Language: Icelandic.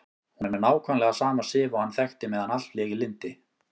Hún er nákvæmlega sama Sif og hann þekkti meðan allt lék í lyndi.